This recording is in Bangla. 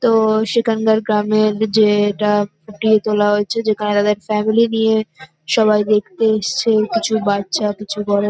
তো সেখানকার গ্রামের যে-এ টা ফুটিয়ে তোলা হয়েছে যেখানে তাদের ফ্যামিলি নিয়ে সবাই দেখতে এসছে কিছু বাচ্চা কিছু বড়।